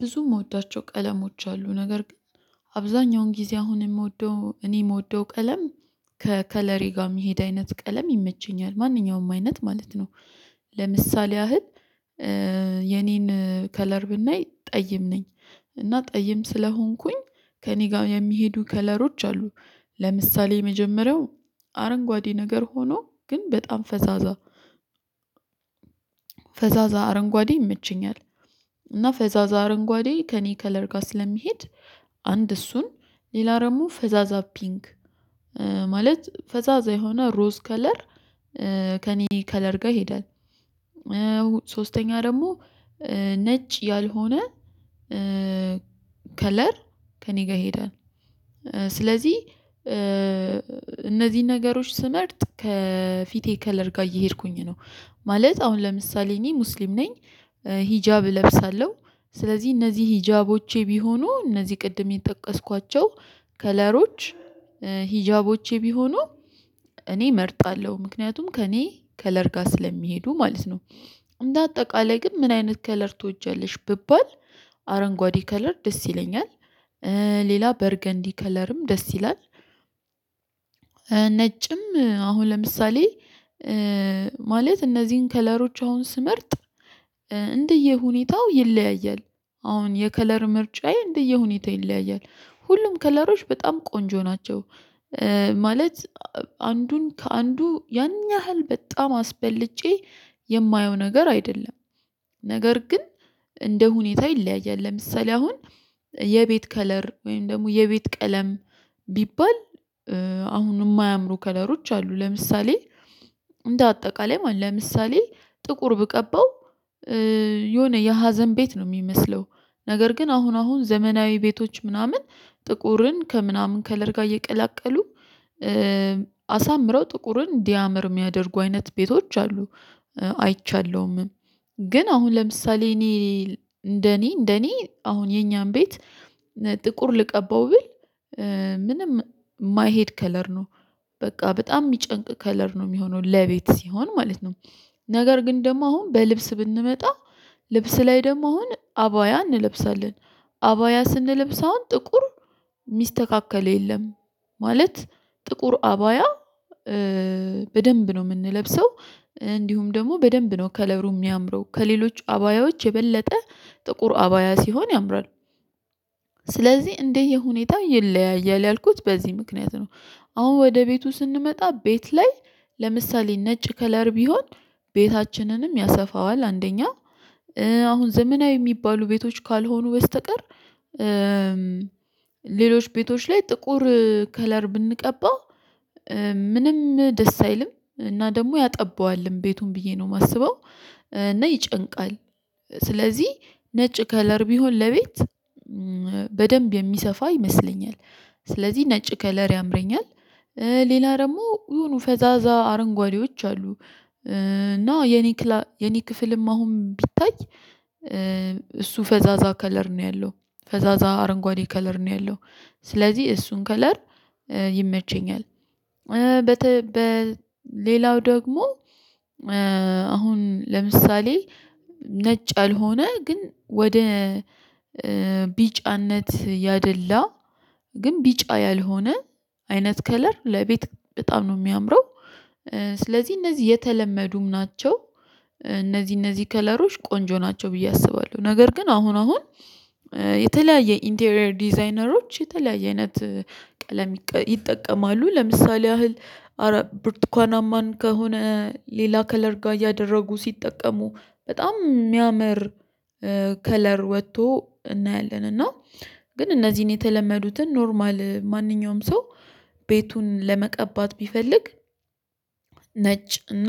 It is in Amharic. ብዙም የምወዳቸው ቀለሞች አሉ። ነገር ግን አብዛኛውን ጊዜ አሁን የምወደው እኔ የምወደው ቀለም ከከለሪ ጋር የሚሄድ አይነት ቀለም ይመቸኛል። ማንኛውም አይነት ማለት ነው። ለምሳሌ ያህል የኔን ከለር ብናይ ጠይም ነኝ። እና ጠይም ስለሆንኩኝ ከእኔ ጋር የሚሄዱ ከለሮች አሉ። ለምሳሌ የመጀመሪያው አረንጓዴ ነገር ሆኖ ግን በጣም ፈዛዛ ፈዛዛ አረንጓዴ ይመችኛል። እና ፈዛዛ አረንጓዴ ከእኔ ከለር ጋር ስለሚሄድ አንድ እሱን ሌላ ደግሞ ፈዛዛ ፒንግ ማለት ፈዛዛ የሆነ ሮዝ ከለር ከእኔ ከለር ጋር ይሄዳል። ሶስተኛ ደግሞ ነጭ ያልሆነ ከለር። ከእኔ ጋር ይሄዳል። ስለዚህ እነዚህን ነገሮች ስመርጥ ከፊቴ ከለር ጋር እየሄድኩኝ ነው። ማለት አሁን ለምሳሌ እኔ ሙስሊም ነኝ። ሂጃብ እለብሳለሁ፤ ስለዚህ እነዚህ ሂጃቦቼ ቢሆኑ እነዚህ ቅድም የጠቀስኳቸው ከለሮች ሂጃቦቼ ቢሆኑ እኔ እመርጣለሁ። ምክንያቱም ከእኔ ከለር ጋር ስለሚሄዱ። ማለት ነው። አንዳ አጠቃላይ ግን ምን አይነት ከለር ትወጃለሽ? ብባል አረንጓዴ ከለር ደስ ይለኛል። ሌላ በርገንዲ ከለርም ደስ ይላል። ነጭም አሁን ለምሳሌ ማለት እነዚህን ከለሮች አሁን ስመርጥ እንደ የሁኔታው ይለያያል። አሁን የከለር ምርጫዬ እንደየሁኔታ ይለያያል። ሁሉም ከለሮች በጣም ቆንጆ ናቸው። ማለት አንዱን ከአንዱ ያን ያህል በጣም አስበልጬ የማየው ነገር አይደለም። ነገር ግን እንደ ሁኔታ ይለያያል። ለምሳሌ አሁን የቤት ከለር፣ ወይም ደግሞ የቤት ቀለም ቢባል፣ አሁን የማያምሩ ከለሮች አሉ። ለምሳሌ እንደ አጠቃላይ ማለት ለምሳሌ ጥቁር ብቀባው የሆነ የሀዘን ቤት ነው። የሚመስለው ነገር ግን አሁን አሁን ዘመናዊ ቤቶች ምናምን ጥቁርን ከምናምን ከለር ጋር እየቀላቀሉ አሳምረው ጥቁርን እንዲያምር የሚያደርጉ አይነት ቤቶች አሉ። አይቻለሁም። ግን አሁን ለምሳሌ እኔ እንደኔ እንደኔ አሁን የኛን ቤት ጥቁር ልቀባው ብል ምንም የማይሄድ ከለር ነው። በቃ በጣም የሚጨንቅ ከለር ነው የሚሆነው ለቤት ሲሆን ማለት ነው። ነገር ግን ደግሞ አሁን በልብስ ብንመጣ ልብስ ላይ ደግሞ አሁን አባያ እንለብሳለን። አባያ ስንለብስ አሁን ጥቁር የሚስተካከለ የለም። ማለት ጥቁር አባያ በደንብ ነው የምንለብሰው። እንዲሁም ደግሞ በደንብ ነው ከለሩ የሚያምረው። ከሌሎች አባያዎች የበለጠ ጥቁር አባያ ሲሆን ያምራል። ስለዚህ እንደዚህ ሁኔታ ይለያያል። ያልኩት በዚህ ምክንያት ነው አሁን ወደ ቤቱ ስንመጣ ቤት ላይ ለምሳሌ ነጭ ከለር ቢሆን ቤታችንንም ያሰፋዋል። አንደኛ አሁን ዘመናዊ የሚባሉ ቤቶች ካልሆኑ በስተቀር ሌሎች ቤቶች ላይ ጥቁር ከለር ብንቀባ ምንም ደስ አይልም። እና ደግሞ ያጠባዋልም። ቤቱን ብዬ ነው የማስበው እና ይጨንቃል። ስለዚህ ነጭ ከለር ቢሆን ለቤት በደንብ የሚሰፋ ይመስለኛል። ስለዚህ ነጭ ከለር ያምረኛል። ሌላ ደግሞ የሆኑ ፈዛዛ አረንጓዴዎች አሉ። እና የኔ የኔ ክፍልም አሁን ቢታይ እሱ ፈዛዛ ከለር ነው። ያለው ፈዛዛ አረንጓዴ ከለር ነው ያለው። ስለዚህ እሱን ከለር ይመቸኛል። በሌላው ደግሞ አሁን ለምሳሌ ነጭ አልሆነ ግን ወደ ቢጫነት ያደላ ግን ቢጫ ያልሆነ አይነት ከለር ለቤት በጣም ነው የሚያምረው። ስለዚህ እነዚህ የተለመዱም ናቸው። እነዚህ እነዚህ ከለሮች ቆንጆ ናቸው። ብዬ አስባለሁ። ነገር ግን አሁን አሁን የተለያየ ኢንቴሪየር ዲዛይነሮች የተለያየ አይነት ቀለም ይጠቀማሉ። ለምሳሌ ያህል ብርቱካናማን ከሆነ ሌላ ከለር ጋር እያደረጉ ሲጠቀሙ በጣም የሚያምር ከለር ወጥቶ እናያለን። እና ግን እነዚህን የተለመዱትን ኖርማል ማንኛውም ሰው ቤቱን ለመቀባት ቢፈልግ ነጭ እና